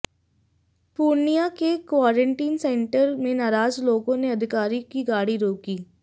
पूर्णिया के quarantine centre में नाराज लोगों ने अधिकारी की गाड़ी रोकी